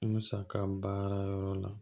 Musaka baara yɔrɔ la